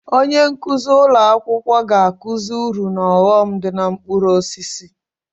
Onye nkuzi ụlọ akwụkwọ ga-akụzi uru na ọghọm dị na mkpụrụ osisi